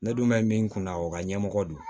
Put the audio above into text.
Ne dun bɛ min kunna o ka ɲɛmɔgɔ don